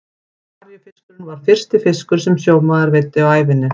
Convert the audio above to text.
Maríufiskurinn var fyrsti fiskur sem sjómaður veiddi á ævinni.